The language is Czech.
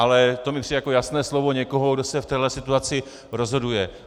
Ale to mi přijde jako jasné slovo někoho, kdo se v téhle situaci rozhoduje.